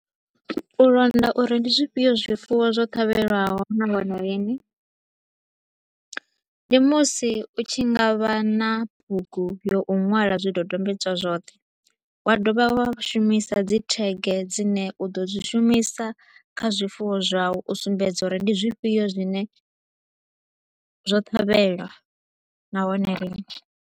U londa uri ndi zwifhio zwifuwo zwo ṱhavheliwaho na hone lini, ndi musi u tshi nga vha na bugu ya u ṅwala zwidodombedzwa zwoṱhe, wa dovha wa shumisa dzi tag dzine u ḓo dzi shumisa kha zwifuwo zwau u sumbedza uri ndi zwifhio zwine zwo ṱhavhelwa nahone lini.